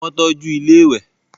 Wọ́n tọ́ju ilẹ́ ìwẹ̀